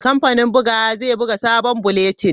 Kamfanin bugawa zai buga sabon bulletin.